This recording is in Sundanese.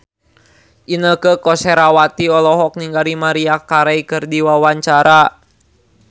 Inneke Koesherawati olohok ningali Maria Carey keur diwawancara